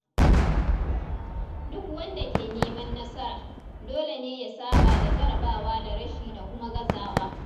Duk wanda ke neman nasara, dole ne ya saba da jarabawa da rashi da kuma gazawa.